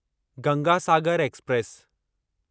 Ganga Sagar express